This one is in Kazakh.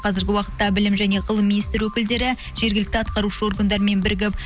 қазіргі уақытта білім және ғылым министрі өкілдері жергілікті атқарушы органдармен бірігіп